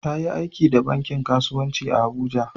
Ta yi aiki dah da bankin kasuwanci a'Abuja.